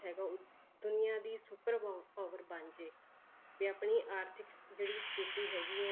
ਹੈਗਾ ਉਹ ਦੁਨੀਆਂ ਦੀ super ਪ~ power ਬਣ ਜਾਏ, ਵੀ ਆਪਣੀ ਆਰਥਿਕ ਜਿਹੜੀ ਸਥਿਤੀ ਹੈਗੀ ਹੈ